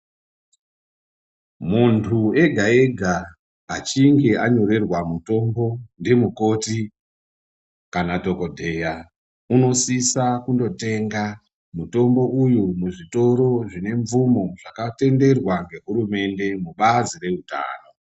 Munthu ega-ega, achinge anyorerwa mutombo, ndimukoti, kana dhokodheya, unosisa kondotenga mutombo uyu muzvitoro zvine mvumo, zvakatenderwa ngehurumende mubazi reutano.